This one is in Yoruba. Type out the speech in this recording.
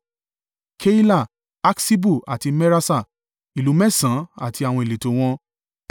Keila, Aksibu àti Meraṣa: ìlú mẹ́sàn-án àti àwọn ìletò wọn.